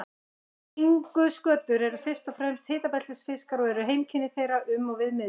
Stingskötur eru fyrst og fremst hitabeltisfiskar og eru heimkynni þeirra um og við miðbaug.